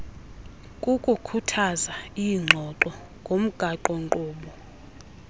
kukukhuthaza iingxoxo ngomgaqonkqubo